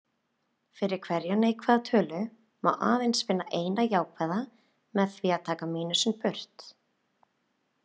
Fyrir hverja neikvæða tölu má eins finna eina jákvæða, með því að taka mínusinn burt.